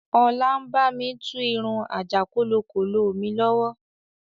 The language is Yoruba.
Ọlá ń bami tú irun àjàkólokólo mi lọ́wọ́